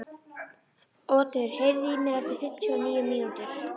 Otur, heyrðu í mér eftir fimmtíu og níu mínútur.